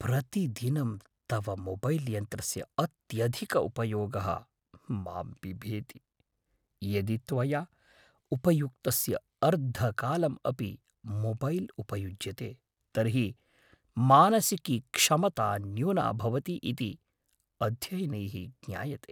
प्रतिदिनं तव मोबैल् यन्त्रस्य अत्यधिकः उपयोगः मां बिभेति, यदि त्वया उपयुक्तस्य अर्धकालम् अपि मोबैल् उपयज्यते, तर्हि मानसिकी क्षमता न्यूना भवति इति अध्ययनैः ज्ञायते।